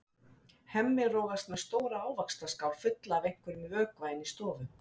Hemmi rogast með stóra ávaxtaskál fulla af einhverjum vökva inn í stofu.